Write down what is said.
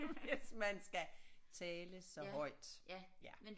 Hvis man skal tale så højt ja